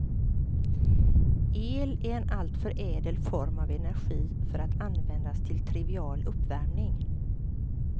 El är en alltför ädel form av energi för att användas till trivial uppvärmning.